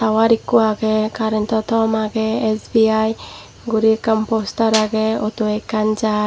tower ekko agey current o thom agey S_B_I guri ekkan poster agey auto ekkan jar.